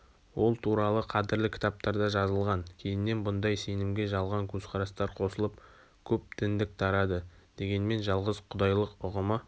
ол туралы қадірлі кітаптарда жазылған кейіннен бұндай сенімге жалған көзқарастар қосылып көп діндік тарады дегенмен жалғыз-құдайлықүғымы